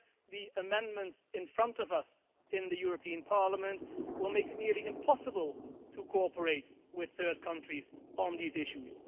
Yet, the amendments in front of us in the European Parliament will make it nearly impossible to cooperate with third countries on these issues.